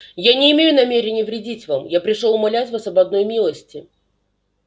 я не имею намерения вредить вам я пришёл умолять вас об одной милости